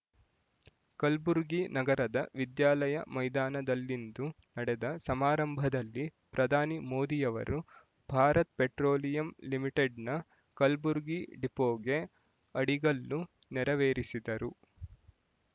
ಕಲ್ಬುರ್ಗಿ ನಗರದ ವಿದ್ಯಾಲಯ ಮೈದಾನದಲ್ಲಿಂದು ನಡೆದ ಸಮಾರಂಭದಲ್ಲಿ ಪ್ರಧಾನಿ ಮೋದಿಯವರು ಭಾರತ್ ಪೆಟ್ರೋಲಿಯಂ ಲಿಮಿಟೆಡ್‌ನ ಕಲ್ಬುರ್ಗಿ ಡಿಪೋಗೆ ಅಡಿಗಲ್ಲು ನೆರವೇರಿಸಿದರು